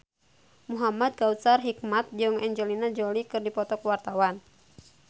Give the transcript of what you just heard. Muhamad Kautsar Hikmat jeung Angelina Jolie keur dipoto ku wartawan